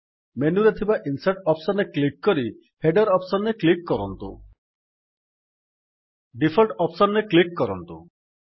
ମେନୁରେ ଥିବା insert option ରେ କ୍ଲିକ୍ କରି ହେଡର ଅପ୍ସନ୍ ରେ କ୍ଲିକ୍ କରନ୍ତୁ